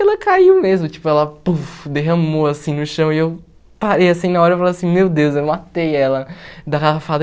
Ela caiu mesmo, tipo, ela pufe derramou assim no chão e eu parei assim na hora e falei assim, meu Deus, eu matei ela da garrafada.